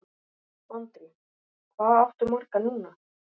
Andri: Hvað áttu marga núna?